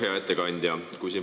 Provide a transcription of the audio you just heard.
Hea ettekandja!